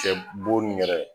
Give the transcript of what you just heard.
Kɛ boni yɛrɛ